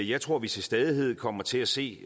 jeg tror at vi til stadighed kommer til at se